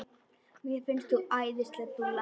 Mér finnst þú æðisleg dúlla!